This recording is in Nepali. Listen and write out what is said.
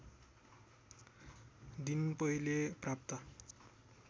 दिन पहिले प्राप्त